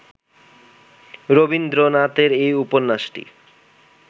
রবীন্দ্রনাথের এই উপন্যাসটি